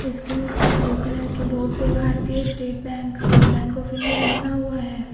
इसके ऊपर blue colour के बोर्ड पे भारतीय State Bank State Bank of India लिखा हुआ है।